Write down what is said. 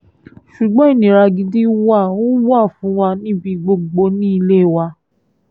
ṣùgbọ́n ìnira gidi wa ò wà fún wa níbi gbogbo ní ilé wa